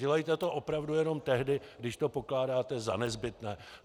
Dělejte to opravdu jenom tehdy, když to pokládáte za nezbytné.